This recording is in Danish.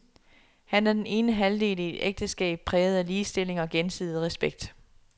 Han er den ene halvdel i et ægteskab præget af ligestilling og gensidig respekt.